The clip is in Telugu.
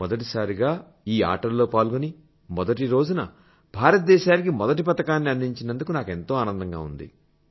మొదటిసారిగా ఈ ఆటల్లో పాల్గొని మొదటి రోజున భారతదేశానికి మొదటి పతకాన్ని అందించినందుకు నాకెంతో ఆనందంగా ఉంది